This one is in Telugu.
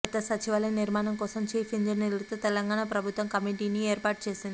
కొత్త సచివాలయ నిర్మాణం కోసం చీఫ్ ఇంజనీర్లతో తెలంగాణ ప్రభుత్వం కమిటీని ఏర్పాటు చేసింది